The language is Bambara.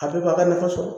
A bɛɛ b'a ka nafa sɔrɔ